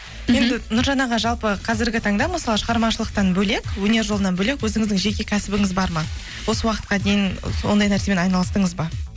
енді нұржан аға жалпы қазіргі таңда мысалы шығармашылықтан бөлек өнер жолынан бөлек өзіңіздің жеке кәсібіңіз бар ма осы уақытқа дейін ондай нәрсемен айналыстыңыз ба